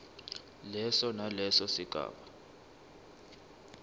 leso naleso sigaba